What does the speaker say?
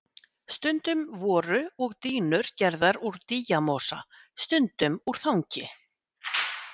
Stundum voru og dýnur gerðar úr dýjamosa, stundum úr þangi.